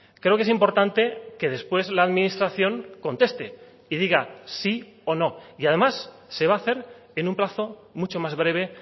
creo que es importante que después la administración conteste y diga sí o no y además se va a hacer en un plazo mucho más breve